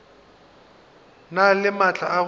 na le maatla a go